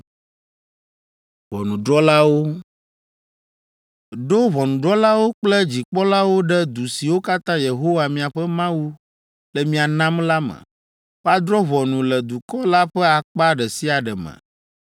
Ɖo ʋɔnudrɔ̃lawo kple dzikpɔlawo ɖe du siwo katã Yehowa miaƒe Mawu le mia nam la me. Woadrɔ̃ ʋɔnu le dukɔ la ƒe akpa ɖe sia ɖe me.